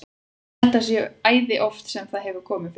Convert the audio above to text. Ég held að það sé æði oft sem það hefur komið fyrir.